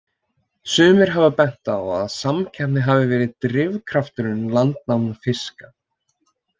Sumir hafa bent á að samkeppni hafi verið drifkrafturinn landnámi fiska.